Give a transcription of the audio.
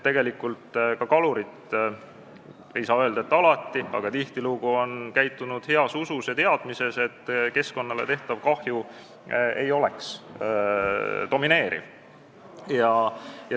Tegelikult ka kalurid – ei saa küll öelda, et alati, aga tihtilugu – on käitunud heas usus ja teadmises, et keskkonnale tekkiv kahju ei ole domineeriv.